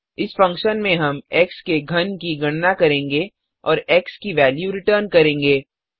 इस फंक्शन में हम एक्स के घन की गणना करेंगे और एक्स की वेल्यू रिटर्न करेंगे